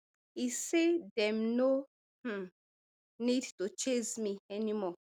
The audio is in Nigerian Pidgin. e say dem no um need to chase me anymore